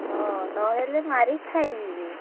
ହଁ ନହେଲେ ମାରି ଖାଇଯିବି।